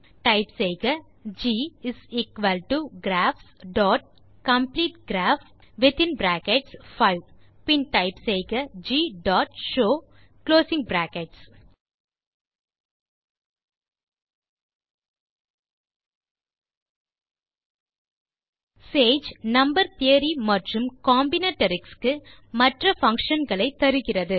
type செய்க தேரே Ggraphs dot complete graph பின் டைப் செய்க G dot show sage number theory மற்றும் காம்பினேட்டரிக்ஸ் க்கு மற்ற பங்ஷன் களை தருகிறது